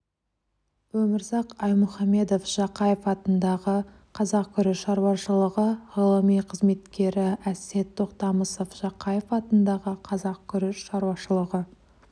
өмірзақ аймұхамедов жақаев атындағы қазақ күріш шаруашылығы ғылыми қызметкері әсет тоқтамысов жақаев атындағы қазақ күріш шаруашылығы